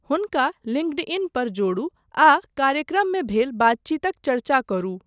हुनका लिंक्डइन पर जोड़ू आ कार्यक्रममे भेल बातचीतक चर्चा करू।